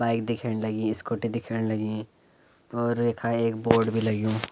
बाइक दिखेंण लगीं स्कूटी दिखेंण लगीं और यखा एक बोर्ड भी लग्युं।